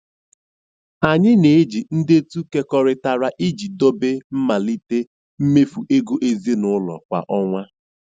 Anyị na-eji ndetu kekọrịtara iji dobe mmelite mmefu ego ezinụlọ kwa ọnwa.